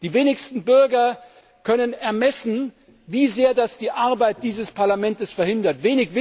Die wenigsten Bürger können ermessen, wie sehr das die Arbeit dieses Parlaments behindert.